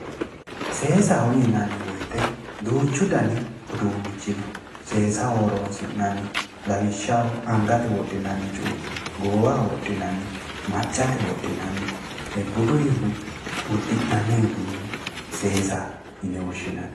Seesaho yinanni woyte duuchu dani uduunnichino seesaho horoonsi'nannihu lawishaho angate wodhinanni cuu"icho goowaho wodhinanni maccate wodhinanni buduyhu uddi'nanni uduunne seesaho yine woshshiinanni